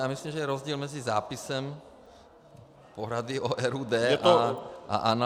Já myslím, že je rozdíl mezi zápisem poradu o RUD a analýzou -